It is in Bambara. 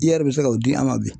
I yɛrɛ bɛ se ka o di an ma bi